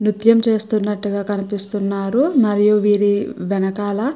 న్యూత్యం చేస్తున్నట్టుగా కనిపిస్తునారు మరియు వీరి వెనుకల --